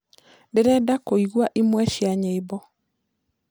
ndĩrenda kũĩgwa ĩmwe cĩa nyĩmbo